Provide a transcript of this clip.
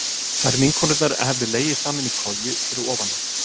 Þær vinkonurnar hefðu legið saman í koju fyrir ofan hann.